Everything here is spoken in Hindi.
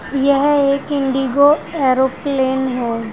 यह एक इंडिगो एरोप्लेन है।